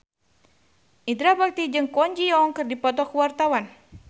Indra Bekti jeung Kwon Ji Yong keur dipoto ku wartawan